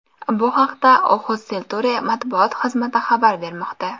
Bu haqda Oxus Culture matbuot xizmati xabar bermoqda.